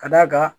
Ka d'a kan